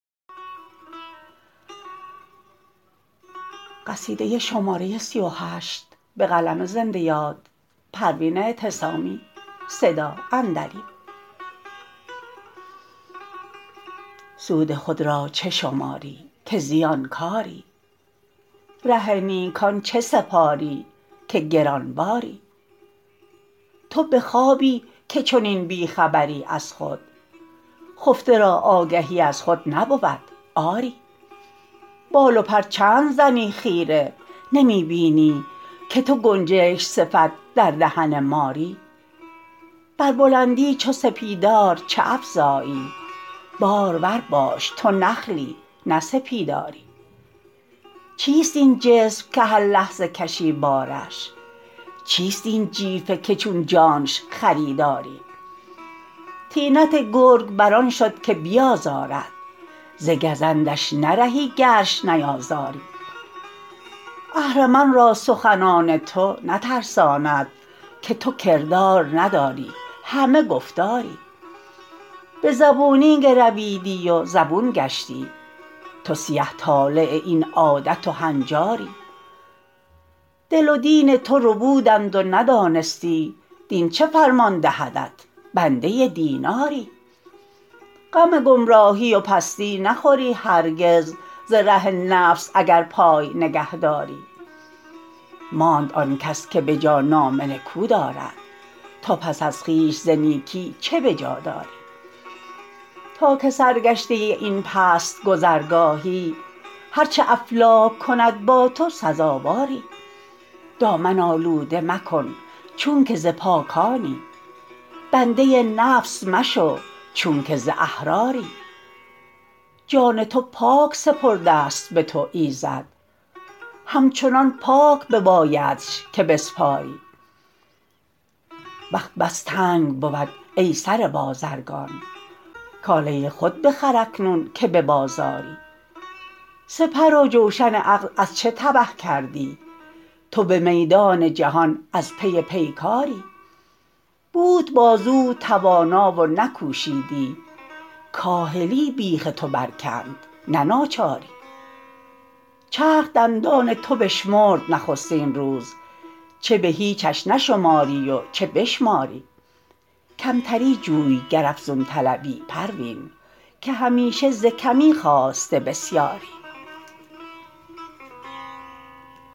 سود خود را چه شماری که زیانکاری ره نیکان چه سپاری که گرانباری تو به خوابی که چنین بیخبری از خود خفته را آگهی از خود نبود آری بال و پر چند زنی خیره نمی بینی که تو گنجشک صفت در دهن ماری بر بلندی چو سپیدار چه افزایی بارور باش تو نخلی نه سپیداری چیست این جسم که هر لحظه کشی بارش چیست این جیفه که چون جانش خریداری طینت گرگ بر آن شد که بیازارد ز گزندش نرهی گرش نیازاری اهرمن را سخنان تو نترساند که تو کردار نداری همه گفتاری بزبونی گرویدی و زبون گشتی تو سیه طالع این عادت و هنجاری دل و دین تو ربودند و ندانستی دین چه فرمان دهدت بنده دیناری غم گمراهی و پستی نخوری هرگز ز ره نفس اگر پای نگهداری ماند آنکس که بجا نام نکو دارد تو پس از خویش ز نیکی چه بجا داری تا که سرگشته این پست گذرگاهی هر چه افلاک کند با تو سزاواری دامن آلوده مکن چونکه ز پاکانی بنده نفس مشو چونکه ز احراری جان تو پاک سپردست بتو ایزد همچنان پاک ببایدش که بسپاری وقت بس تنگ بود ای سره بازرگان کاله خود بخر اکنون که ببازاری سپرو جوشن عقل از چه تبه کردی تو بمیدان جهان از پی پیکاری بود بازوت توانا و نکوشیدی کاهلی بیخ تو بر کند نه ناچاری چرخ دندان تو بشمرد نخستین روز چه بهیچش نشماری و چه بشماری کمتری جوی گر افزون طلبی پروین که همیشه ز کمی خاسته بسیاری